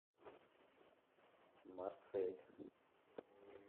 марсель